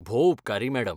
भोव उपकारी मॅडम.